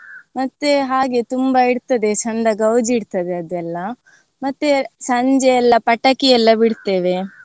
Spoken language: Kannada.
ಮತ್ತೆ ಹಾಗೆ ತುಂಬಾ ಇರ್ತದೆ ಚೆಂದ ಗೌಜ್ ಇರ್ತದೆ ಅದೆಲ್ಲ. ಮತ್ತೆ ಸಂಜೆ ಎಲ್ಲ ಪಟಾಕಿ ಎಲ್ಲ ಬಿಡ್ತೇವೆ.